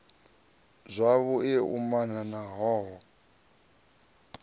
zwavhu i umana ha hoho